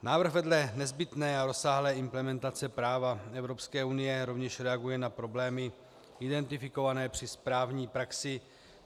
Návrh vedle nezbytné a rozsáhlé implementace práva Evropské unie rovněž reaguje na problémy identifikované při správní praxi.